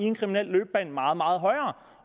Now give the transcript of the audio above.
en kriminel løbebane meget meget højere